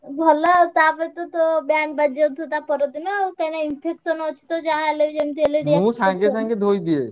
ଭଲ ଆଉ ତାପରେ ତ ତୋର band ବାଜିଯାଉଥିବ ତା ପର ଦିନ ଆଉ କାଇଁନା infection ଅଛି ତ ଯାହା ହେଲେବି ଯେମତି ହେଲେ